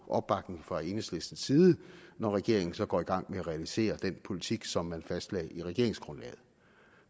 opbakning fra enhedslistens side når regeringen så går i gang med at realisere den politik som man fastlagde i regeringsgrundlaget